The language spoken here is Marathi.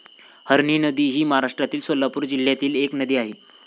हरणी नदी ही महाराष्ट्रातील सोलापूर जिल्ह्यातील एक नदी आहे.